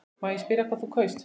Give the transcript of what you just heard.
Má spyrja hvað þú kaust?